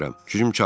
Gücüm çatmır.